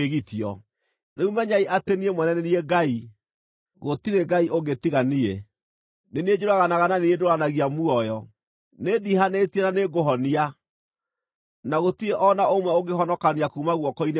“Rĩu menyai atĩ niĩ mwene nĩ niĩ Ngai! Gũtirĩ ngai ũngĩ tiga niĩ. Nĩ niĩ njũraganaga na niĩ ndũũranagia muoyo, nĩndiihanĩtie na nĩngũhonia, na gũtirĩ o na ũmwe ũngĩhonokania kuuma guoko-inĩ gwakwa.